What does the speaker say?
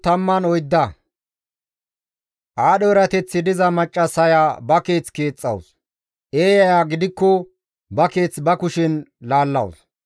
Aadho erateththi diza maccassaya ba keeth keexxawus; eeyaya gidikko ba keeth ba kushen laallawus.